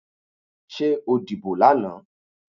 Ṣé o dìbò lánàá.